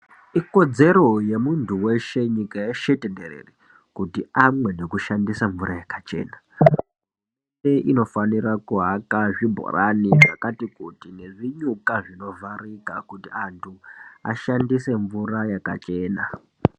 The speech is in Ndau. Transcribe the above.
Ikodzero yemunthu weshe nyika yeshe tenderere kuti amwe nekushandisa mvura yakachena hurumende inofanira kuaka zvibhorani zvakati kuti nezvinyuka zvinovharika kuti anthu ashandise mvura yakachena.